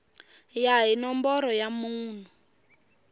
ya hi nomboro ya munhu